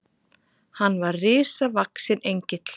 Hann var risavaxinn Engill.